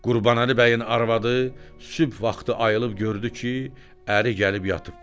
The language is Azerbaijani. Qurbanəli bəyin arvadı sübh vaxtı ayılıb gördü ki, əri gəlib yatıb.